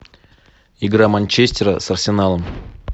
игра манчестера с арсеналом